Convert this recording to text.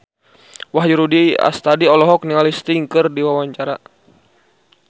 Wahyu Rudi Astadi olohok ningali Sting keur diwawancara